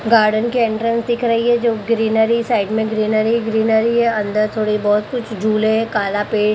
garden की entrance दिख रही है जो ग्रीनरी साइड में ग्रीनरी ग्रीनरी है अंदर थोड़ी बहोत कुछ झूले हैं काला पेड़--